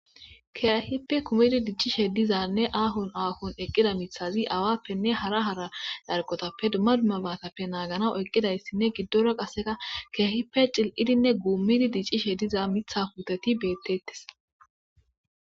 kehippe kumidi diccishe dizanne aahon aahon eqqida mithazi awappenne hara hara carqotappe duma duma baatappe naagana eqqidayssinne giddora qaseka keahippe cil7idinne guummidi diccishe diza mitha puteti beettettes.